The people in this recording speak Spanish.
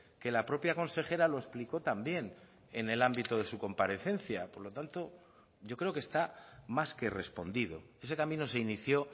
que la propia consejera lo explicó también en el ámbito de su comparecencia por lo tanto yo creo que está más que respondido ese camino se inició